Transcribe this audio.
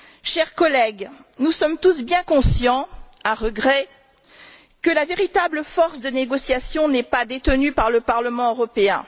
Chers collègues, nous sommes tous bien conscients, à regret, que la véritable force de négociation n'est pas détenue par le Parlement européen.